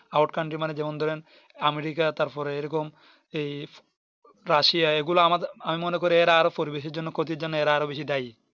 Out Cantree মানে যেমন ধরেন america তারপরে এইরকম এই russia এইগুলো আমি মনে করি এরা আরো পরিবেশের জন্য ক্ষতির জন্য এরা আরো বেশি দায়ী